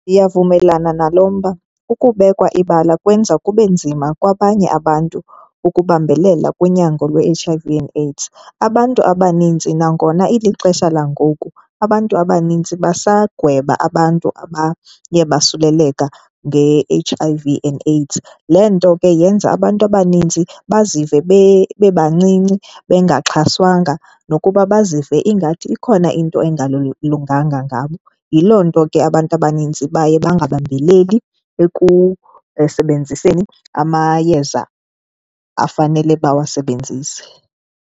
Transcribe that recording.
Ndiyavumelana nalo mba, ukubekwa ibala kwenza kube nzima kwabanye abantu ukubambelela kunyango lwe-H_I_V and AIDS. Abantu abaninzi nangona ilixesha langoku, abantu abaninzi basagweba abantu abaye basuleleka nge-H_I_V and AIDS. Loo nto ke yenza abantu abaninzi bazive bebancinci, bengaxhaswanga, nokuba bazive ingathi ikhona into engalunganga ngabo. Yiloo nto ke abantu abanintsi baye bangabambeleli ekusebenziseni amayeza afanele bawasebenzise.